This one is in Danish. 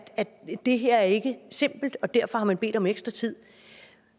det her ikke er simpelt og derfor har bedt om ekstra tid